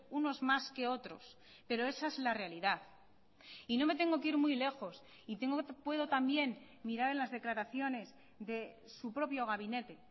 unos más que otros pero esa es la realidad y no me tengo que ir muy lejos y puedo también mirar en las declaraciones de su propio gabinete